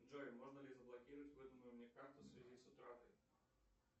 джой можно ли заблокировать выданную мне карту в связи с утратой